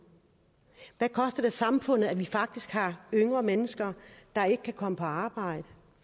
hvad koster det samfundet at vi faktisk har yngre mennesker der ikke kan komme på arbejde